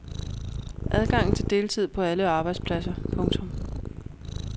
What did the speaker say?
Adgang til deltid på alle arbejdspladser. punktum